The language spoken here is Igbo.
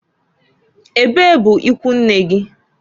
Ebee bụ ikwunne gi?